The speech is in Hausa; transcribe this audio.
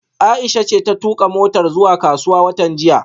Aisha ce ta tuka motar zuwa kasuwa watan jiya